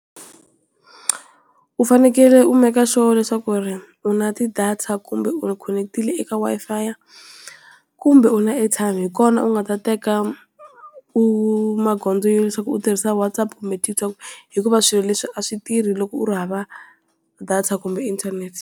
U fanekele u make sure leswaku u na ti-data kumbe u khonekitile eka Wi-Fi, kumbe u na airtime hi kona u nga ta teka u magoza ya leswaku u tirhisa WhatsApp kumbe TikTok, hikuva swilo leswi a swi tirhi loko u ri hava data kumbe inthanete.